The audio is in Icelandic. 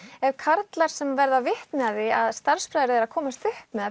ef karlar sem verða vitni að því að starfsbræður þeirra komast upp með að